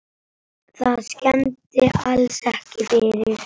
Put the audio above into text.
Það skemmdi alls ekki fyrir.